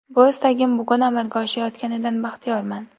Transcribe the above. Bu istagim bugun amalga oshayotganidan baxtiyorman.